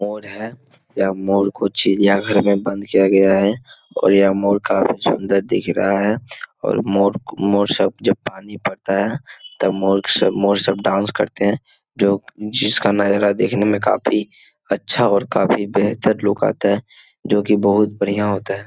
मोर है। यह मोर को चिड़िया घर में बंद किया गया है और यह मोर काफी सुन्दर दिख रहा है और मोर मोर सब जब पानी पड़ता है तब मोर सब मोर सब डांस करते हैं जो जिसका नजारा देखने में काफी अच्छा और काफी बेहतर लुक आता है जो की बहुत बढ़िया होता है।